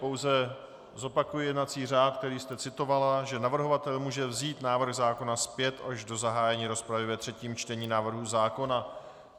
Pouze zopakuji jednací řád, který jste citovala, že navrhovatel může vzít návrh zákona zpět až do zahájení rozpravy ve třetím čtení návrhu zákona.